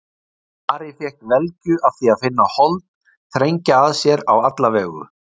Ari fékk velgju af því að finna hold þrengja að sér á alla vegu.